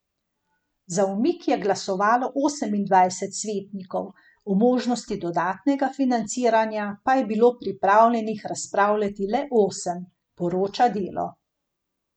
Za umik je glasovalo osemindvajset svetnikov, o možnosti dodatnega financiranja pa je bilo pripravljenih razpravljati le osem, poroča Delo.